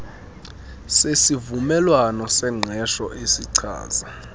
sesivumelwano sengqesho esichaza